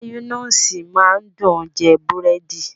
Mayonnaise máa ń dùn jẹ búrẹ́dì